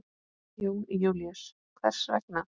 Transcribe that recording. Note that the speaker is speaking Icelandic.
Jón Júlíus: Hvers vegna?